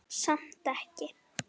Samt ekki.